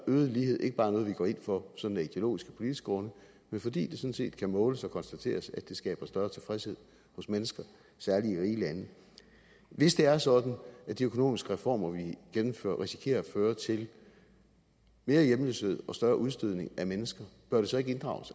øget lighed ikke bare er noget vi går ind for sådan af ideologiske politiske grunde men fordi det sådan set kan måles og konstateres at det skaber større tilfredshed hos mennesker særlig i rige lande hvis det er sådan at de økonomiske reformer vi gennemfører risikerer at føre til mere hjemløshed og større udstødning af mennesker bør det så ikke inddrages